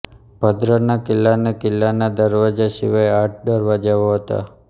ભદ્રના કિલ્લાને કિલ્લાના દરવાજા સિવાય આઠ દરવાજાઓ હતા